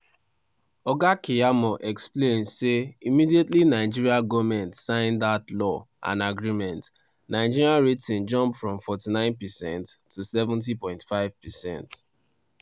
oga keyamo explain say immediately nigeria goment sign dat law and agreement nigeria rating jump from 49 percent to 70.5 percent.